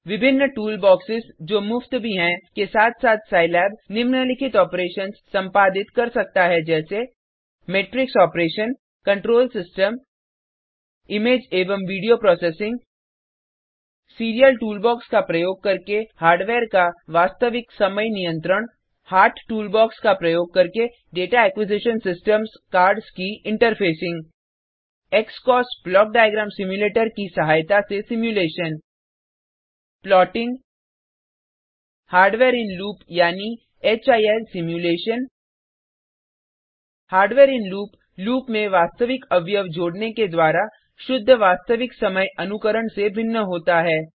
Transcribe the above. विभिन्न टूलबॉक्सेस जो मुफ्त भी हैं के साथ साथ सिलाब निम्नलिखित आपरेशंस संपादित कर सकता है जैसे matrix operation control system image एवं वीडियो प्रोसेसिंग सीरियल टूलबॉक्स का प्रयोग करके हार्डवेयर का वास्तविक समय नियंत्रण हार्ट टूलबॉक्स का प्रयोग करके दाता एक्विजिशन systemsकार्ड्स की इंटरफेसिंग की सहायता से simulation plotting hardware in loop यानी HIL simulation hardware in loop loop में वास्तविक अवयव जोड़ने के द्वारा शुद्ध वास्तविक समय अनुकरण से भिन्न होता है